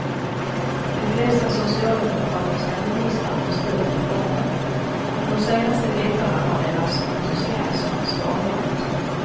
De flesta socialdemokratiska ministrar har stött reformen, men de senaste veckorna har deras entusiasm svalnat.